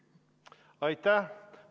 Aitäh!